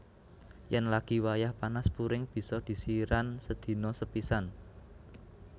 Yen lagi wayah panas puring bisa disiran sedina sepisan